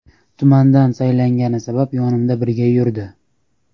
Tumandan saylangani sabab yonimda birga yurdi.